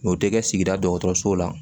N'o tɛ kɛ sigida dɔgɔtɔrɔso la